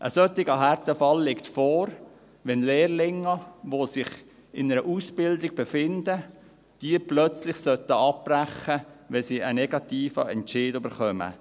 Ein solcher Härtefall liegt vor, wenn Lehrlinge, die sich in einer Ausbildung befinden, diese plötzlich abbrechen sollten, wenn sie einen negativen Entscheid erhalten.